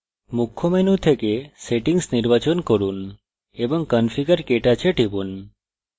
মুখ্য menu থেকে settings নির্বাচন from এবং configurektouch এ টিপুন